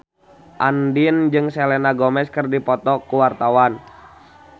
Andien jeung Selena Gomez keur dipoto ku wartawan